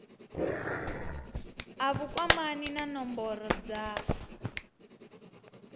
a vhukwamani na nomboro dza